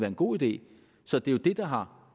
en god idé så det er jo det der har